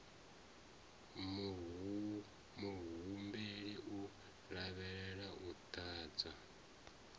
muhumbeli u lavhelelwa u ḓadza